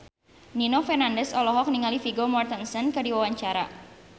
Nino Fernandez olohok ningali Vigo Mortensen keur diwawancara